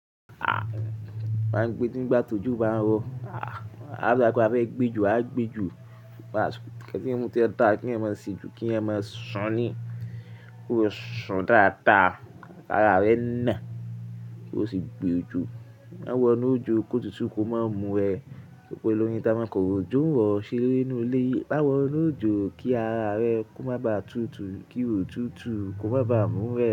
Ah! Máa ń gbé tí ìgbà tó jù bá ń rọ. Ah! A dàgbà fún abẹ́ ìgbẹ́jọ́, a gbejo. Kẹ́tẹ́ẹ̀rù tí ń dáa kí ẹ máa ṣe ju kí ẹ máa sùn ní. Kó sùn dáadáa, ara rẹ na, kó sì gbejo. Má wọ inú òjò kó tútù kó má mú ẹ, pé olóyin ta máa kọ́rò, jówọ́ ṣeré nínú ilé. Má wọ inú òjò kí ara rẹ kó má baà tútù, kí o tútù kó má baà mú ẹ.